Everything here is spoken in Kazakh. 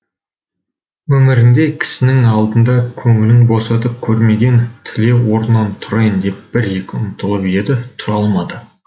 өмірінде кісінің алдында көңілін босатып көрмеген тілеу орнынан тұрайын деп бір екі ұмтылып еді тұра алмады